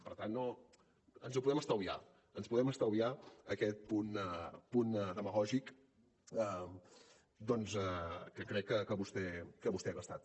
per tant ens ho podem estalviar ens podem estalviar aquest punt demagògic doncs que crec que vostè ha gastat